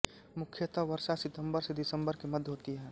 मुख्यतः वर्षा सितम्बर से दिसम्बर के मध्य होती है